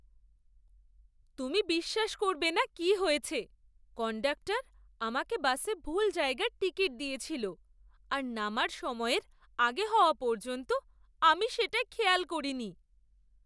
তুমি বিশ্বাস করবে না কি হয়েছে! কন্ডাক্টর আমাকে বাসে ভুল জায়গার টিকিট দিয়েছিল আর নামার সময়ের আগে হওয়া পর্যন্ত আমি সেটা খেয়াল করিনি!